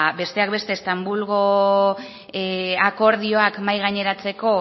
ba bestak beste istanbulgo akordioak mahai gaineratzeko